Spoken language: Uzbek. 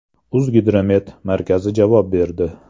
“O‘zgidromet” markazi javob berdi .